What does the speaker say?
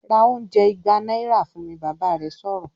"Ra oúnjẹ ìgbà náírà fún mi!", Bàbá rẹ̀ sọ̀rọ̀